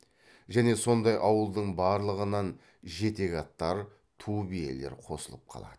және сондай ауылдың барлығынан жетек аттар ту биелер қосылып қалады